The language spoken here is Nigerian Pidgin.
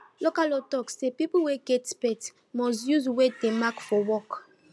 local law talk say people wey get pet must use wey dem mark for walk